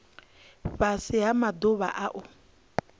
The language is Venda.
fhasi ha maḓuvha a u